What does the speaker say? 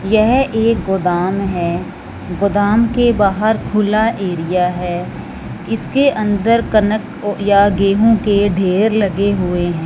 यह एक गोदाम है गोदाम के बाहर खुला एरिया है इसके अंदर कनक या गेहूं के ढेर लगे हुए हैं।